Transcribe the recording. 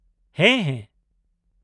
-ᱦᱮᱸ, ᱦᱮᱸ ᱾